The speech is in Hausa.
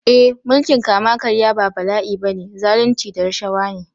Eh mulkin kama karya ba bala’i ba ne, zalunci da rashawa ne.